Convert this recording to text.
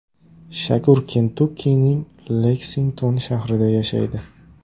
Shakur Kentukkining Leksington shahrida yashaydi.